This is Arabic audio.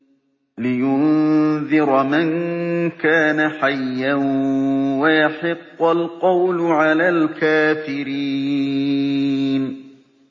لِّيُنذِرَ مَن كَانَ حَيًّا وَيَحِقَّ الْقَوْلُ عَلَى الْكَافِرِينَ